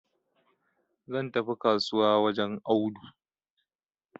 zan tafi kasuwa wajen Audu